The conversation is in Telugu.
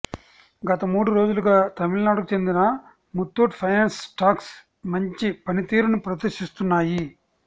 గత మూడు రోజులుగా తమిళనాడుకు చెందిన ముత్తూట్ ఫైనాన్స్ స్టాక్స్ మంచి పనితీరును ప్రదర్శిస్తున్నాయి